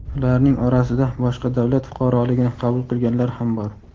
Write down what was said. Ularning orasida boshqa davlat fuqaroligini qabul qilganlar ham bor.